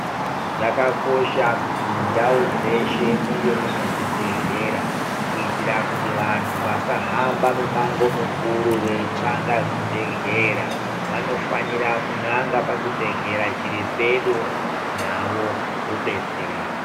Zvakakosha kuti mundau dzeshe munge mune zvibhedhlera kuitira Kuti vantu vasahamba mimango mikuru kuchanga kuzvibhedhlera vanofanira kunanga pachibhedhlera zviri pedo navo vodetsereka.